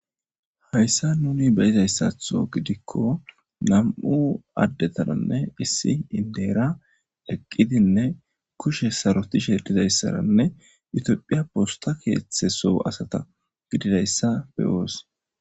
hayssa nuni beyizayssatho gidikko nam7u addetananne issi indeera leqqidinne kushe saroti shedizayssaranne utiophiya posta keeththeso asata gididayssa beyoos